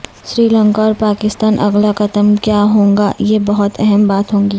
سری لنکا اور پاکستان اگلا قدم کیا ہو گا یہ بہت اہم بات ہوگی